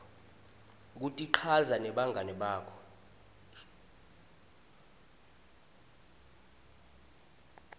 kutichaza nebangani bakho